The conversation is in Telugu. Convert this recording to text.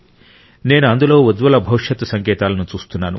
నేను అందులో ఉజ్వల భవిష్యత్తు సంకేతాలను చూస్తున్నాను